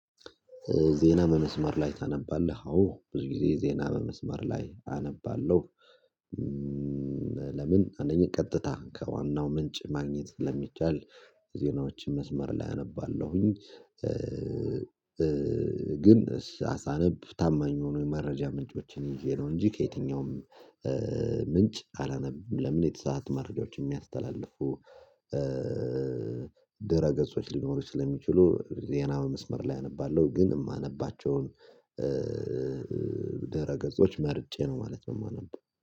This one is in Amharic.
ዜና በመስመር ላይ ታነባለህ? አዎ ብዙ ጊዜ ዜና በመስመር ላይ አነባለሁ። ለምን አንደኛ ቀጥታ ከዋናው ምንጭ ማግኘት ስለሚቻል የዜናዎችን መስመር ላይ አነባለሁኝ። ግን ሳነብ ታማኝ ሆኖ የመረጃ ምንጮችን ይዤ ነው። እንጂ ከየትኛውም ምንጭ አላነብም ለምን የተሳሰአቱ መረጃዎችን የሚያስተላልፉ፤ አስተላልፉ ድረ ገጾች ሊኖሩ ስለሚችሉ ዜና በመስመር ላይ አነባለሁ። ግን የማነባቸውን ደረገጾች መርጬ ነው ማለት ነው የማነበው።